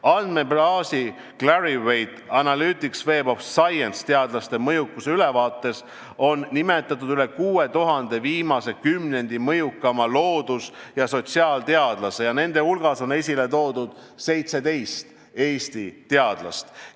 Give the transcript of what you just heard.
Andmebaasi Clarivate Analytics Web of Science teadlaste mõjukuse ülevaates on nimetatud üle 6000 viimase kümnendi mõjukaima loodus- ja sotsiaalteadlase ning nende hulgas on esile toodud 17 Eesti teadlast.